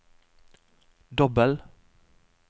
dobbel